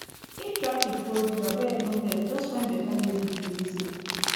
if traffic hold you abeg no vex just find better music to lis ten